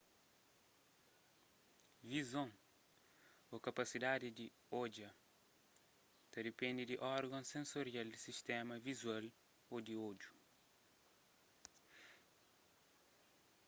vizon ô kapasidadi di odja ta dipende di orgons sensorial di sistéma vizual ô di odju